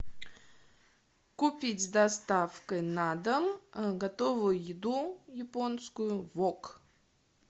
купить с доставкой на дом готовую еду японскую вок